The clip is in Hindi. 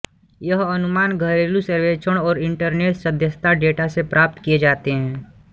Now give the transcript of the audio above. यह अनुमान घरेलू सर्वेक्षण और इंटरनेट सदस्यता डेटा से प्राप्त किए जाते हैं